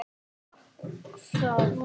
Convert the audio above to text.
Taka það?